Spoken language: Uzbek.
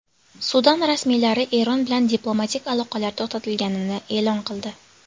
Sudan rasmiylari Eron bilan diplomatik aloqalar to‘xtatilganini e’lon qildi.